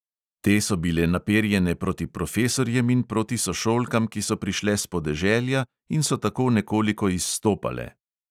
Te so bile naperjene proti profesorjem in proti sošolkam, ki so prišle s podeželja in so tako nekoliko izstopale.